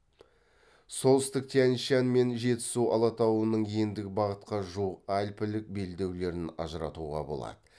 солтүстік тянь шань мен жетісу алатауының ендік бағытқа жуық альпілік белдеулерін ажыратуға болады